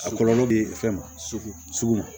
A kɔlɔlɔ bɛ fɛn ma sugu sugu ma